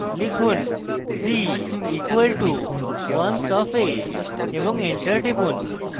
লিখুন b = ones of a এবং enter টিপুন